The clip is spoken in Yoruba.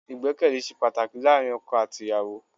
Ìgbẹ́kẹ̀lé ṣe pàtàkì láàárín ọkọ àti ìyàwó.